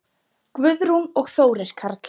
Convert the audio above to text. Guðrún og Þórir Karl.